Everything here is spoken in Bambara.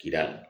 Kira